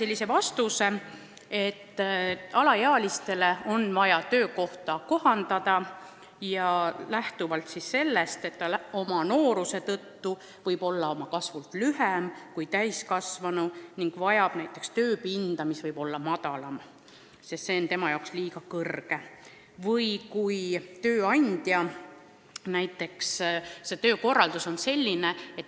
Saime vastuse, et alaealise töökohta on vaja kohandada, ta oma nooruse tõttu võib olla kasvult lühem kui täiskasvanu ning võib vajada näiteks madalamat tööpinda.